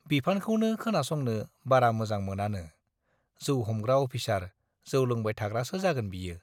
बिफानखौनो खोनासंनो बारा मोजां मोनानो, जौ हमग्रा अफिसार जौ लोंबाय थाग्रासो जागोन बियो।